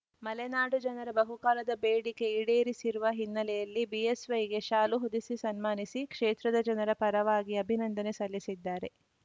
ಮಲೆನಾಡು ಜನರ ಬಹುಕಾಲದ ಬೇಡಿಕೆ ಈಡೇರಿಸಿರುವ ಹಿನ್ನೆಲೆಯಲ್ಲಿ ಬಿಎಸ್‌ವೈಗೆ ಶಾಲು ಹೊದೆಸಿ ಸನ್ಮಾನಿಸಿ ಕ್ಷೇತ್ರದ ಜನರ ಪರವಾಗಿ ಅಭಿನಂದನೆ ಸಲ್ಲಿಸಿದ್ದಾರೆ